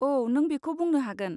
औ, नों बेखौ बुंनो हागोन।